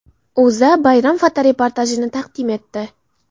O‘zA bayram fotoreportajini taqdim etdi .